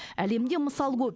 әлемде мысал көп